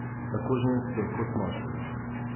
Tako ženske kot moški!